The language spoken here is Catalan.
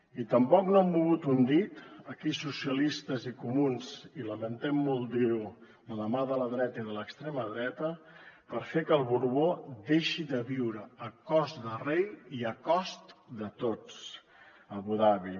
i tampoc no han mogut un dit aquí socialistes i comuns i lamentem molt dir ho de la mà de la dreta i de l’extrema dreta per fer que el borbó deixi de viure a cos de rei i a cost de tots a abu dabi